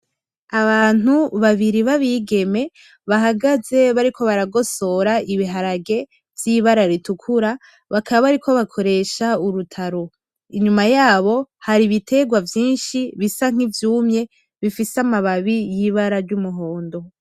Abantu babiri babigeme bahagaze bariko baragosora ibiharage vyibara ritukura bakaba bariko bakoresha urutaro inyuma yabo hari ibitegwa vyinshi bisa nkivyumye bifise amababi yibara ry'umuhondo